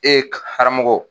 haramɔgɔ.